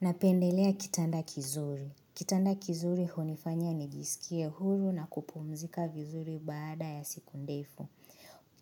Napendelea kitanda kizuri. Kitanda kizuri hunifanya nijiskie huru na kupumzika vizuri baada ya siku ndefu.